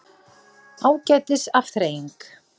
Ágætis afþreying.